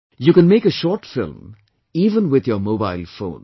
You can make a short film even with your mobile phone